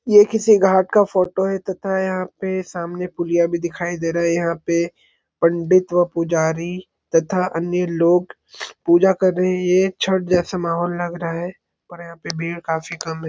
ये किसी घाट का फोटो है तथा यहां पर सामने पुलिया भी दिखाई दे रहे है यहां पे पंडित व पुजारी तथा अन्य लोग पूजा कर रहे हैं छठ जैसे माहौल लग रहा है और यहां पे भीड़ काफी कम लग रही--